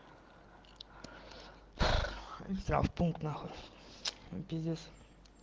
в травмпункт нахуй пиздец